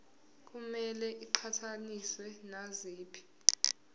kumele iqhathaniswe naziphi